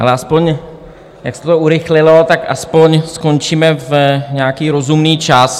Ale aspoň jak se to urychlilo, tak aspoň skončíme v nějaký rozumný čas.